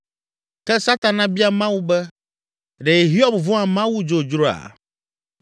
Ke Satana bia Mawu be, “Ɖe Hiob vɔ̃a Mawu dzodzroa?